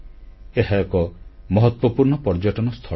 ଏହା ଏକ ମହତ୍ୱପୂର୍ଣ୍ଣ ପର୍ଯ୍ୟଟନସ୍ଥଳ